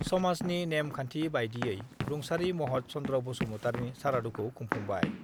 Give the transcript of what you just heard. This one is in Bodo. समाजनि नेम-खान्थि बायदियै रुंसारि महत चन्द्र बसुमतारिनि सारादुखौ खुंफुंबाय